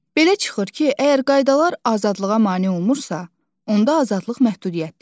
Belə çıxır ki, əgər qaydalar azadlığa mane olmursa, onda azadlıq məhdudiyyətdir.